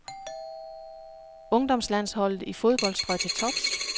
Ungdomslandsholdet i fodbold strøg til tops.